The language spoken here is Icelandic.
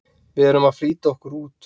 VIÐ ERUM AÐ FLÝTA OKKUR ÚT!